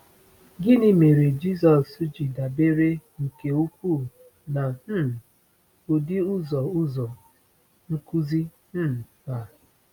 Gịnị mere Jisọs ji dabere nke ukwuu na um ụdị ụzọ ụzọ nkuzi um a?